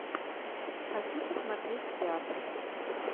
хочу посмотреть театр